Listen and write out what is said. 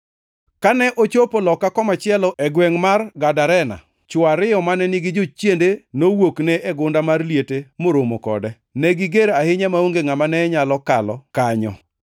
Kane ochopo loka komachielo e gwengʼ mar Gadarena, chwo ariyo mane nigi jochiende nowuokne e gunda mar liete moromo kode. Ne giger ahinya maonge ngʼama ne nyalo kalo kanyo.